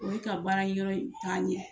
O bɛ ka baarayɔrɔ in taa ɲɛ